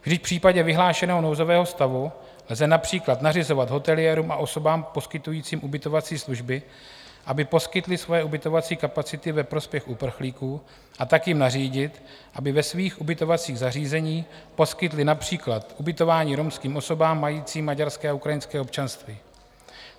Vždyť v případě vyhlášeného nouzového stavu lze například nařizovat hoteliérům a osobám poskytujícím ubytovací služby, aby poskytli svoje ubytovací kapacity ve prospěch uprchlíků, a tak jim nařídit, aby ve svých ubytovacích zařízení poskytli například ubytování romským osobám majícím maďarské a ukrajinské občanství.